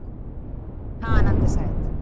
ಹಾ ನಂದುಸ ಆಯ್ತು.